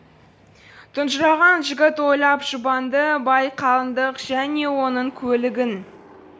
тұнжыраған жігіт ойлап жұбанды бай қалыңдық және оның көлігін